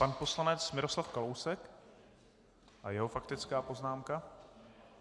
Pan poslanec Miroslav Kalousek a jeho faktická poznámka.